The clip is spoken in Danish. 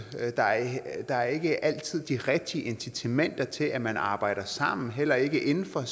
der er ikke altid de rigtige incitamenter til at man arbejder sammen heller ikke inden for